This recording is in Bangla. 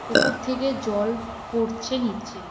উপর থেকে জল পড়ছে নীচে।